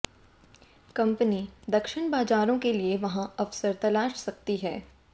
company दक्षिण बाजारों के लिए वहां अवसर तलाश सकती है